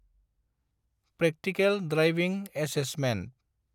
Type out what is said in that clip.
Practical driving assessment.